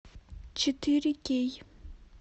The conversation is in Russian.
четыре кей